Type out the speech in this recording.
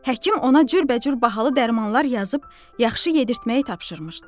Həkim ona cürbəcür bahalı dərmanlar yazıb yaxşı yedirtməyi tapşırmışdı.